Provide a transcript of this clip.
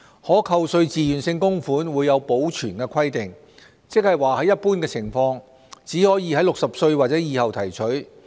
可扣稅自願性供款會有保存規定，即在一般情況，只可在65歲或以後提取。